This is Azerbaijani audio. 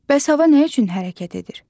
Bəs hava nə üçün hərəkət edir?